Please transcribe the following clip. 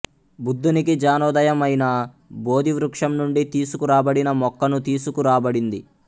బుద్ధునికి ఙానోదయం అయిన బోధివృక్షం నుండి తీసుకురాబడిన మొక్కను తీసుకురాబడింది